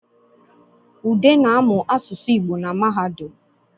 Ude na-amụ aụsụ Igbo na mahadum